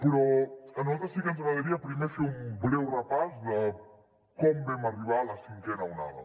però a nosaltres sí que ens agradaria primer fer un breu repàs de com vam arribar a la cinquena onada